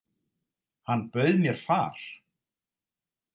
Hann bauð mér far.